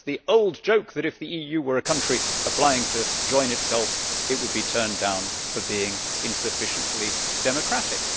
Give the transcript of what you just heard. It is the old joke that, if the EU were a country applying to join itself, it would be turned down for being insufficiently democratic.